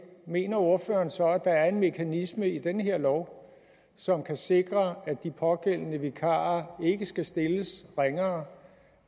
mener ordføreren så at der er en mekanisme i den her lov som kan sikre at de pågældende vikarer ikke skal stilles ringere